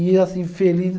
E ele assim, feliz.